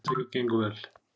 Fyrirtækið gengur vel.